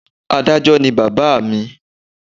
Adájó ni bàbá à mi